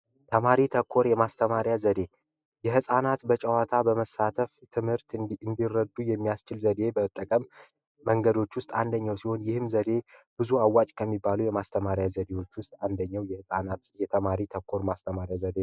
ተማሪ ተኮር ማስተማሪያ ዘዴ የፃናት በጨዋታ በመሳተፍ ትምህርት እንዲረዱ የሚያስችል ዘዴ በጠቀም መንገዶች ውስጥ አንደኛው ሲሆን ይህም ዘዴ ብዙ አዋጅ ከሚባሉ የማስተማሪያ ዘዴዎች ውስጥ አንደኛው የህፃናት እየተማሪ ተኮር ማስተማር ዘዴ ነው